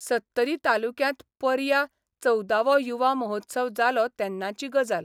सत्तरी तालुक्यांत पर्या चवदावो युवा महोत्सव जालो तेन्नाची गजाल.